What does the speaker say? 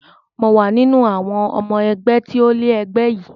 Mò wà nínú àwọn ọmọ ẹgbẹ́ tí ó ilẹ̀ ẹgbẹ́ yìí